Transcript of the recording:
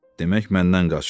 Demək məndən qaçdı?